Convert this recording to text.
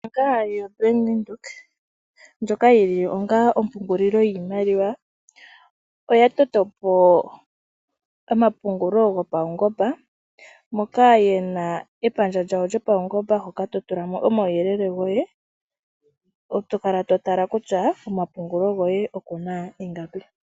Ombaanga Yo Bank Windhoek ndjoka yili onga ompungulilo yiimaliwa oya totopo omapungulo gopawungomba moka yena epandja lyawo lyopawungomba hoka totulamo omawuyelele goye, tokala totala kutya komapungulo goye okuna ingapi